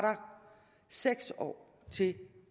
seks år til